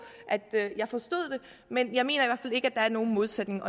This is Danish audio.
at jeg forstod det men jeg mener i ikke at der er nogen modsætning